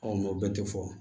o bɛɛ tɛ fɔ